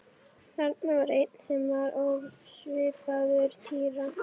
Þarna var einn sem var ekki ósvipaður Týra.